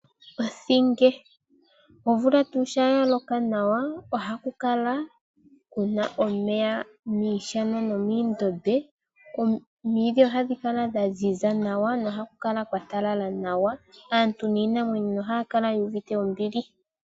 Othinge omvula Tu Sha yaloka nawa, ohakukala Kuna omeya miishana no miindombe, omwidhi ohashikala dha nzinza Nawa nohakukala Kwa talala nawa aantu ninamwenyo ohaya Kala yuvite ombili.